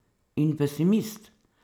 In pesimist?